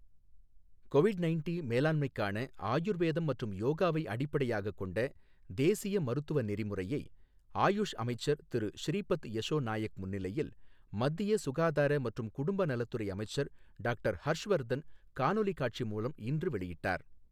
Covid ninety மேலாண்மைக்கான ஆயுர்வேதம் மற்றும் யோகாவை அடிப்படையாகக் கொண்ட தேசிய மருத்துவ நெறிமுறையை, ஆயஷ் அமைச்சர் திரு ஸ்ரீபத் யசோ நாயக் முன்னிலையில், மத்திய சுகாதார மற்றும் குடும்பநலத்துறை அமைச்சர் டாக்டர் ஹர்ஷ் வர்தன் காணொலி காட்சி மூலம் இன்று வெளியிட்டார்.